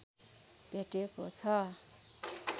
भेटको छ